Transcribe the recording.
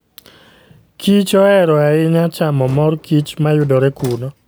kichohero ahinya chamo mor kich ma yudore kuno.